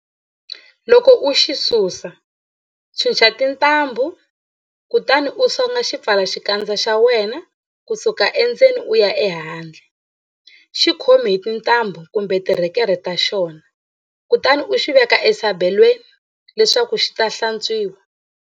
Loko u xi susa, chucha tintambhu, kutani u songa xipfalaxikandza xa wena ku suka endzeni u ya ehandle, xi khomi hi tintambhu kumbe tirhekerhe ta xona kutani u xi veka esabelweni leswaku xi ta hlantswiwa.